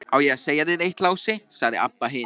Á ég að segja þér eitt, Lási, sagði Abba hin.